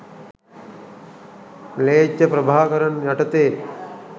ම්ලේච්ඡ ප්‍රභාකරන් යටතේ